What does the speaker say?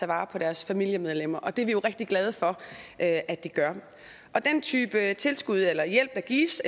vare på deres familiemedlemmer det er vi jo rigtig glade for at de gør den type tilskud eller hjælp der gives